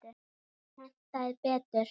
Hentaði betur.